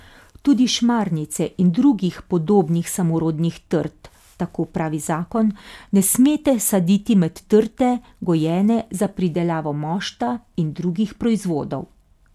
Tudi šmarnice in drugih podobnih samorodnih trt, tako pravi zakon, ne smete saditi med trte, gojene za pridelavo mošta in drugih proizvodov.